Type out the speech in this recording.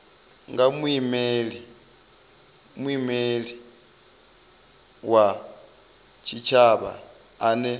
nga muimeli wa tshitshavha ane